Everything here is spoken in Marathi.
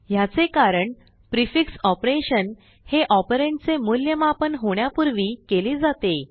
ह्याचे कारण प्रिफिक्स ऑपरेशन हे operandचे मूल्यमापन होण्यापूर्वी केले जाते